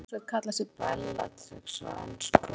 Hvaða íslenska hljómsveit kallaði sig Bellatrix á ensku?